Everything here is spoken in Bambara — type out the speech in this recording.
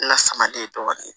Lasamaden dɔɔnin